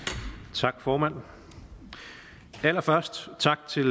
tak formand allerførst tak til